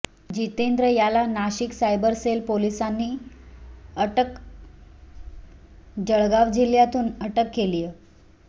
जितेंद्र याला Nashik cyber cell पोलिसांनी अटक जळगाव जिल्ह्यातून अटक केलीय